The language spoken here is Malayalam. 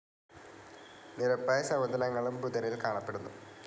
നിരപ്പായ സമതലങ്ങളും ബുധനിൽ കാണപ്പെടുന്നു.